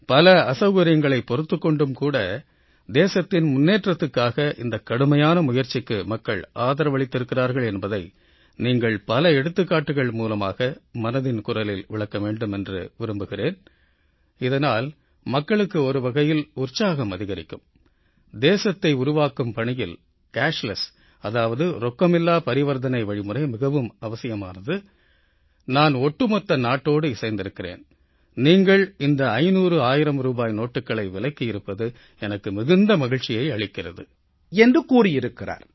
பல அசவுகரியங்களைப் பொறுத்துக் கொண்டும் கூட தேசத்தின் முன்னேற்றத்துக்காக இந்தக் கடுமையான முயற்சிக்கு மக்கள் ஆதரவளித்திருக்கிறார்கள் என்பதை நீங்கள் பல எடுத்துக்காட்டுகள் மூலமாக மனதின் குரலில் விளக்க வேண்டும் என்று விரும்புகிறேன் இதனால் மக்களுக்கு ஒரு வகையில் உற்சாகம் அதிகரிக்கும் தேசத்தை உருவாக்கும் பணியில் ரொக்கமில்லா வழிமுறை மிகவும் அவசியமானது நான் ஒட்டுமொத்த நாட்டோடு இசைந்திருக்கிறேன் நீங்கள் இந்த 5001000 ரூபாய் நோட்டுக்கள் விலக்கி இருப்பது எனக்கு மிகுந்த மகிழ்ச்சியை அளிக்கிறது என்று கூறியிருக்கிறார்